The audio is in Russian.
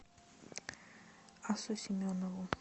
асу семенову